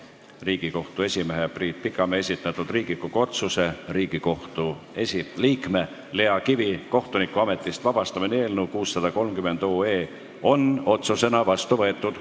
Riigikohtu esimehe Priit Pikamäe esitatud Riigikogu otsuse "Riigikohtu liikme Lea Kivi kohtunikuametist vabastamine" eelnõu 630 on otsusena vastu võetud.